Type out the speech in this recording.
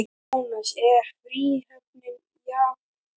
Jónas: Er fríhöfnin jafngóð?